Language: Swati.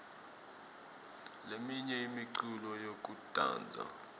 leminye imiculo yekudansa